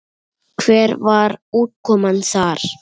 Hver var útkoman þar?